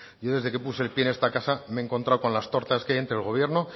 yo desde que puse el pie en esta casa me he encontrado con las tortas que hay entre el gobierno